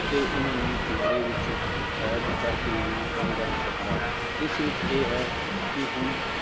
ਅਤੇ ਉਹਨਾਂ ਨੂੰ ਪਿੰਜ਼ਰੇ ਵਿੱਚ ਕੈਦ ਕਰਕੇ ਵੀ ਨਹੀਂ ਰੱਖ ਸਕਦਾ, ਇਸ ਵਿੱਚ ਇਹ ਹੈ ਕਿ ਹੁਣ